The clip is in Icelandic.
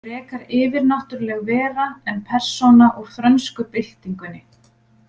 Frekar yfirnáttúruleg vera en persóna úr frönsku byltingunni.